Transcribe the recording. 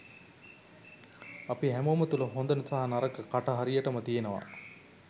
අපි හැමෝම තුළ හොඳ සහ නරක කට හරියටම තියෙනවා.